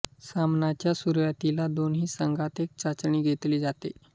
सामन्याच्या सुरुवातीला दोन्ही संघात एक चाचणी घेतली जाते